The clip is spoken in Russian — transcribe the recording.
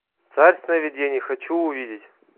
царь сновидений хочу увидеть